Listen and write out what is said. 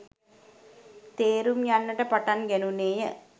තේරුම් යන්නට පටන් ගැනුණේ ය.